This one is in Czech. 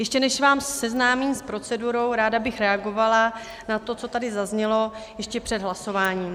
Ještě než vás seznámím s procedurou, ráda bych reagovala na to, co tady zaznělo, ještě před hlasováním.